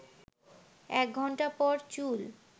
১ ঘণ্টা পর চুল